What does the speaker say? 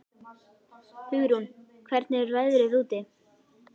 Hugrún, hvernig er veðrið úti?